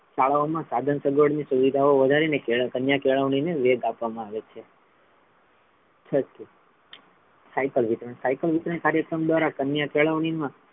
શાળાઓ મા સાધન સગવળ ની સુવિધાઓ વધારીને કન્યા કેળવણી ને વેગ આપવામા આવે છે છઠું સાયકલ વિતરણ સાયકલ વિતરણ કાર્યક્રમ દ્વારા કન્યા કેળવણીમાં,